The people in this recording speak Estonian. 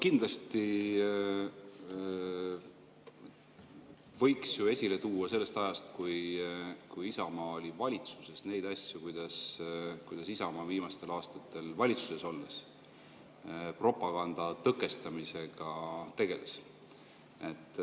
Kindlasti võiks ju esile tuua sellest ajast, kui Isamaa oli valitsuses, neid asju, kuidas Isamaa viimastel aastatel valitsuses olles propaganda tõkestamisega tegeles.